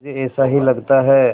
मुझे ऐसा ही लगता है